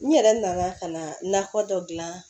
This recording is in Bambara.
N yɛrɛ nana ka nakɔ dɔ gilan